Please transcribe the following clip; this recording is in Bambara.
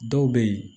Dɔw bɛ yen